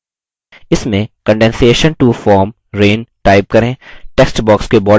इसमें condensation to form rain type करें